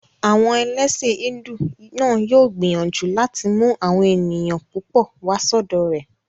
Àwọn ẹlẹ́sìn hídù náà yóò gbìyànjú láti mú àwọn èèyàn púpọ̀ wá sọ́dọ̀ rẹ̀